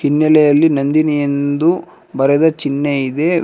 ಹಿನ್ನಲೆಯಲ್ಲಿ ನಂದಿನಿ ಎಂದು ಬರೆದ ಚಿನ್ಹೆ ಇದೆ ವ್ಯ--